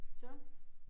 Så